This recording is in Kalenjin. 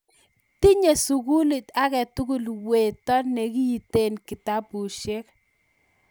tinye sukulit aketukul weto nekinteni kitabusiek